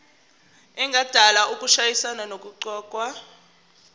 engadala ukushayisana nokuqokwa